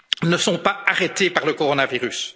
ressources ne sont pas été arrêtés par le coronavirus.